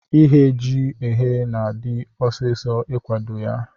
Ighe ji eghe na adi ọsisọ ikwado ya.